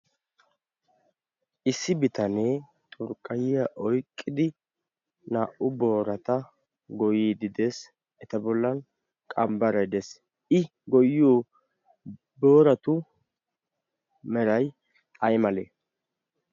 issi bitanee xurkqayiya oiqqidi naa"u boorata goyidi dees. eta bollan qambbaraidees i goyiyo booratu meray ay male?